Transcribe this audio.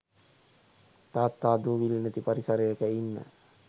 තාත්තා දූවිලි නැති පරිසරයක ඉන්න